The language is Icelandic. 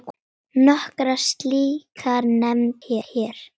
Nokkrar slíkar nefndar hér